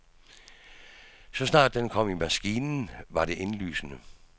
Så snart den kom i maskinen, var det indlysende.